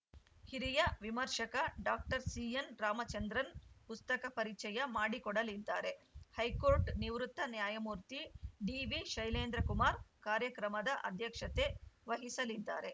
ಹಿರಿಯ ವಿಮರ್ಶಕ ಡಾಕ್ಟರ್ ಸಿಎನ್‌ರಾಮಚಂದ್ರನ್‌ ಪುಸ್ತಕ ಪರಿಚಯ ಮಾಡಿಕೊಡಲಿದ್ದಾರೆ ಹೈಕೋರ್ಟ್‌ ನಿವೃತ್ತ ನ್ಯಾಯಮೂರ್ತಿ ಡಿವಿಶೈಲೇಂದ್ರಕುಮಾರ್‌ ಕಾರ್ಯಕ್ರಮದ ಅಧ್ಯಕ್ಷತೆ ವಹಿಸಲಿದ್ದಾರೆ